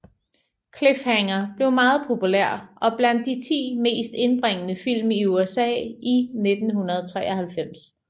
Cliffhanger blev meget populær og blandt de 10 mest indbringende film i USA i 1993